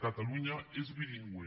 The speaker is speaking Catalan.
catalunya és bilingüe